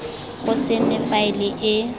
go se nne faele e